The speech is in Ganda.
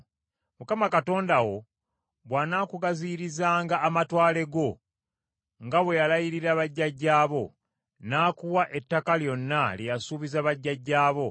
Mukama Katonda wo bw’anaakugaziyirizanga amatwale go, nga bwe yalayirira bajjajjaabo, n’akuwa ettaka lyonna lye yasuubiza bajjajjaabo,